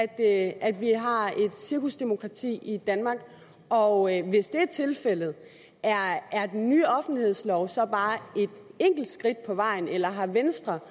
at at vi har et cirkusdemokrati i danmark og hvis det er tilfældet er den nye offentlighedslov så bare et enkelt skridt på vejen eller har venstre